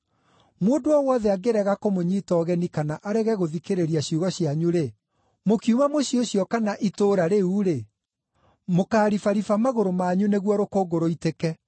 Mũndũ o wothe angĩrega kũmũnyiita ũgeni kana arege gũthikĩrĩria ciugo cianyu-rĩ, mũkiuma mũciĩ ũcio kana itũũra rĩu-rĩ, mũkaaribariba magũrũ manyu nĩguo rũkũngũ rũitĩke.